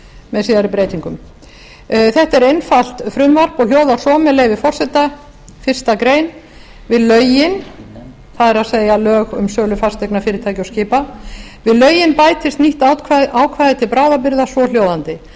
með síðari breytingum þetta er einfalt frumvarp og hljóðar svo með leyfi forseta fyrsta grein við lögin það er lög um sölu fasteigna fyrirtækja og skipa við lögin bætist nýtt ákvæði til bráðabirgða svohljóðandi